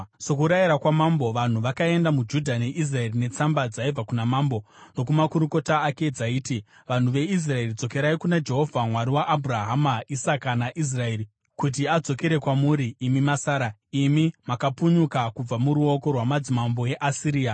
Sokurayira kwamambo, vanhu vakaenda muJudha neIsraeri netsamba dzaibva kuna Mambo nokumakurukota ake dzaiti: “Vanhu veIsraeri, dzokerai kuna Jehovha Mwari waAbhurahama, Isaka naIsraeri kuti adzokere kwamuri imi masara, imi makapunyuka kubva muruoko rwamadzimambo eAsiria.